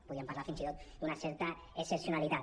podríem parlar fins i tot d’una certa excepcionalitat